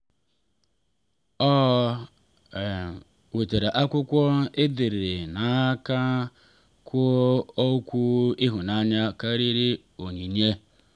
ọ wetara akwụkwọ e dere n’aka kwuo okwu ịhụnanya karịrị onyinye.